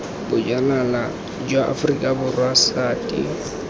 bojanala jwa aforika borwa sati